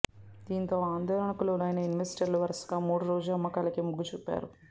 దీంతో ఆందోళనకు లోనైన ఇన్వెస్టర్లు వరుసగా మూడో రోజు అమ్మకాలకే మొగ్గు చూపారు